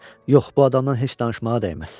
Yox, bu adamdan heç danışmağa dəyməz.